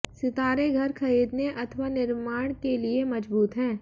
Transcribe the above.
सितारे घर खरीदने अथवा निर्माण के लिए मजबूत हैं